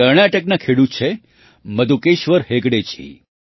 કર્ણાટકના ખેડૂત છે મધુકેશ્વર હેગડેજી